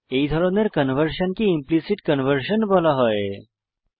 এই ধরনের কনভার্সনকে ইমপ্লিসিট ইমপ্লিসিট কনভার্সন বলা হয়